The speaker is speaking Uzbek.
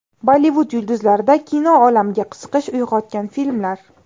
Bollivud yulduzlarida kino olamiga qiziqish uyg‘otgan filmlar.